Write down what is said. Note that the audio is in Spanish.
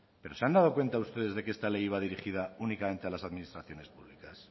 pero se han dado cuenta ustedes de que esta ley iba dirigida únicamente a las administraciones públicas